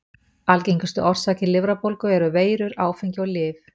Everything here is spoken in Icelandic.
Algengustu orsakir lifrarbólgu eru veirur, áfengi og lyf.